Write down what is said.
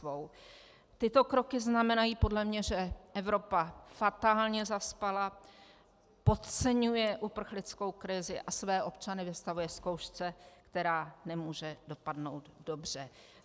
Tyto kroky znamenají podle mě, že Evropa fatálně zaspala, podceňuje uprchlickou krizi a své občany vystavuje zkoušce, která nemůže dopadnout dobře.